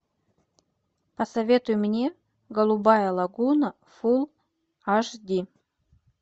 посоветуй мне голубая лагуна фулл аш ди